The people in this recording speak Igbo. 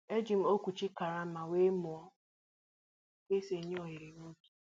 E ji m okwuchi karama wéé mụọ ka e sị e nye oghere n'ubi